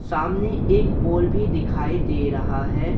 सामने एक पोल भी दिखाई दे रहा है।